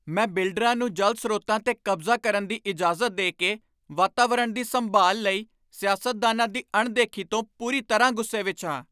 ਮੈਂ ਬਿਲਡਰਾਂ ਨੂੰ ਜਲ ਸਰੋਤਾਂ 'ਤੇ ਕਬਜ਼ਾ ਕਰਨ ਦੀ ਇਜਾਜ਼ਤ ਦੇ ਕੇ ਵਾਤਾਵਰਣ ਦੀ ਸੰਭਾਲ ਲਈ ਸਿਆਸਤਦਾਨਾਂ ਦੀ ਅਣਦੇਖੀ ਤੋਂ ਪੂਰੀ ਤਰ੍ਹਾਂ ਗੁੱਸੇ ਵਿੱਚ ਹਾਂ।